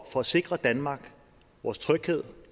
for at sikre danmark vores tryghed